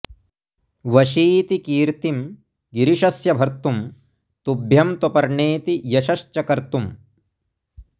वशीति कीर्तिं गिरिशस्य भर्तुं तुभ्यं त्वपर्णेति यशश्च कर्तुम्